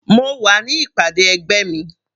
Mo wà ní ìpàdé ẹgbẹ́ mi.